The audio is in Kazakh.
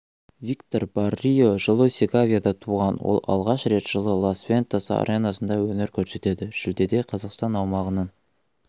виктор баррио жылы сеговияда туған ол алғаш рет жылы лас-вентас аренасында өнер көрсетеді шілдеде қазақстан аумағының